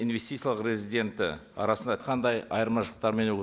инвестициялық резиденті арасында қандай айырмашылықтар